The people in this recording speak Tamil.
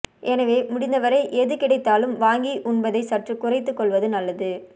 எனவே முடிந்தவரை எது கிடைத்தாலும் வாங்கி உண்பதை சற்று குறைத்து கொள்வது நல்லது